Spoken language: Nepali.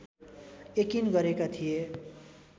यकिन गरेका थिए